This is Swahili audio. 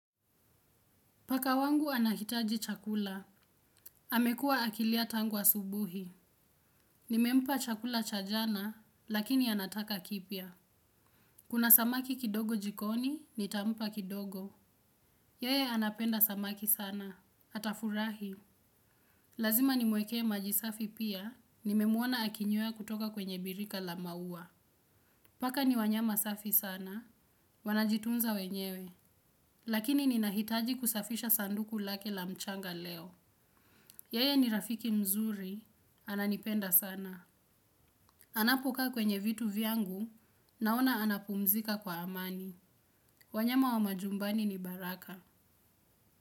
Paka wangu anahitaji chakula. Amekua akilia tangu asubuhi. Nimempa chakula cha jana lakini anataka kipya. Kuna samaki kidogo jikoni nitampa kidogo. Yeye anapenda samaki sana. Atafurahi. Lazima nimwekee maji safi pia nimemwona akinyweya kutoka kwenye birika la maua. Paka ni wanyama safi sana wanajitunza wenyewe. Lakini ninahitaji kusafisha sanduku lake la mchanga leo. Yeye ni rafiki mzuri ananipenda sana. Anapo kaa kwenye vitu vyangu naona anapumzika kwa amani. Wanyama wa majumbani ni baraka.